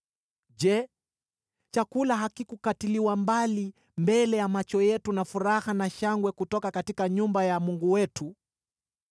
Je, chakula hakikukatiliwa mbali mbele ya macho yetu: furaha na shangwe kutoka nyumba ya Mungu wetu?